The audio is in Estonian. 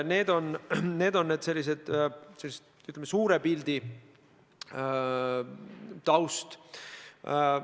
See on selline, ütleme, suure pildi taust.